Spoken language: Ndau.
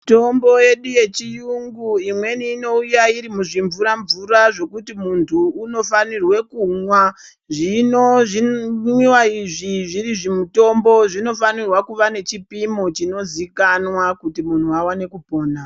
Mitombo yedu yechiyungu imweni inouya iri muzvimvura mvura zvokuti munthu unofanirwe kumwa. Zvino zvimwiwa izvi zviri zvimitombo zvinofanirwa kuva nechipimo chinozikanwa kuti munthu awane kupona